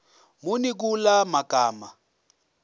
muni kula magama